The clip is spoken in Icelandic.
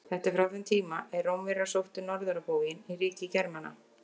Þetta er frá þeim tíma er Rómverjar sóttu norður á bóginn í ríki Germana.